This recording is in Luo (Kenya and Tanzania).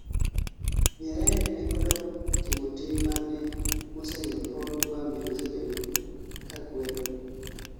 Nyerere ne odok timo tim mane mosenindo Paul Kwame nosebedo ka kwedo